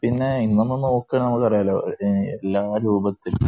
പിന്നെ ഇന്ന് നമ്മള് നോക്കുകയാണെങ്കില്‍ നമുക്ക് അറിയാലോ. എല്ലാ രൂപത്തില്‍